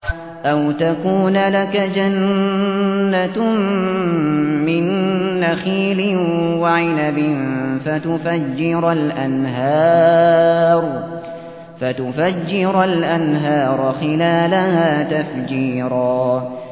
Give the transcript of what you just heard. أَوْ تَكُونَ لَكَ جَنَّةٌ مِّن نَّخِيلٍ وَعِنَبٍ فَتُفَجِّرَ الْأَنْهَارَ خِلَالَهَا تَفْجِيرًا